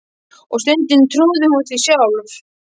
Og stundum trúði hún því sjálf.